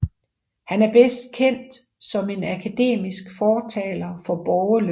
Han er bedst kendt som en akademisk fortalere for borgerløn